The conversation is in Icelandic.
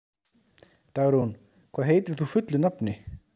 Dagrún, hvað heitir þú fullu nafni?